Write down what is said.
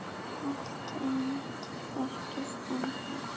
Alltént ekki ennþá.